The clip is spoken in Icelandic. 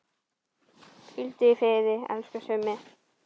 Hvíldu í friði, elsku Summi.